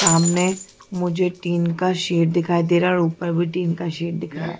सामने मुझे तीन का शेड दिखाई दे रहा है और ऊपर भी तीन का शेड दिख रहा है।